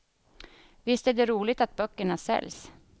Visst är det roligt att böckerna säljs.